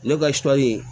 Ne ka sɔli